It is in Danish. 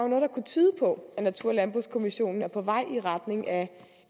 kunne tyde på at natur og landbrugskommissionen er på vej i retning af